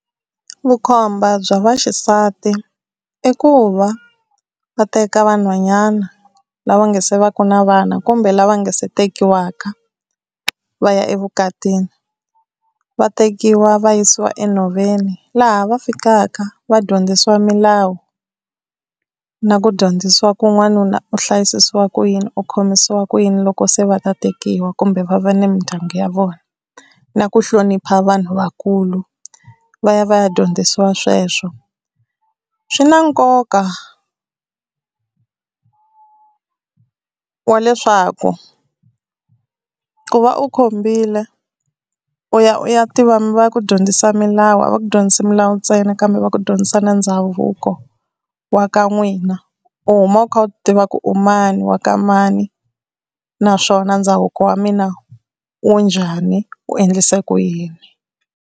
Vukhomba bya vaxisati i ku va va teka vanhwanyana lava nga se va ku na vana kumbe lava nga se tekiwaka va ya evukatini va tekiwa va yisiwa enhoveni laha va fikaka va dyondzisiwa milawu na ku dyondzisiwa ku n'wanuna u hlayisisiwa ku yini u khomisiwa ku yini loko se va ta tekiwa kumbe va va ni mindyangu ya vona na ku hlonipha vanhu vakulu va ya va ya dyondzisiwa sweswo, swi na nkoka wa leswaku ku va u khombile u ya u ya tiva mi va ya ku dyondzisa milawu a va ku dyondzisa milawu ntsena kambe va ku dyondzisa na ndhavuko wa ka n'wina u huma u kha u tiva ku u mani wa ka mani naswona ndhavuko wa mina u njhani u endlise ku yini.